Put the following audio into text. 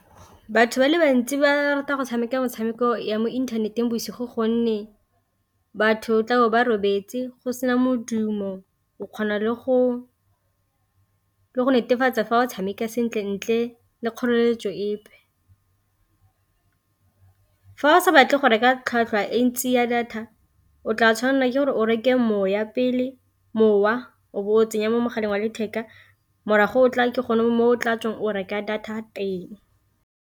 Batho ba le bantsi ba rata go tshameka metshameko ya mo inthaneteng bosigo gonne batho tla go ba robetse go sena modumo o kgona le go netefatsa fa o tshameka sentle ntle le kgoreletso epe, fa o sa batle go reka tlhwatlhwa e ntsi ya data o tla tshwanela ke gore o reke moya pele mowa o bo o tsenya mo mogaleng wa letheka morago o tla ke gone mo o tla tswang o reka data teng.